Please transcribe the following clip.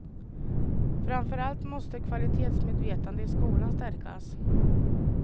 Framför allt måste kvalitetsmedvetande i skolan stärkas.